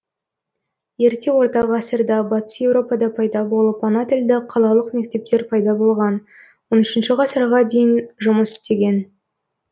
ерте ортағасырда батыс европада пайда болып ана тілді қалалық мектептер пайда болған он үшінші ғасырға дейін жұмыс істеген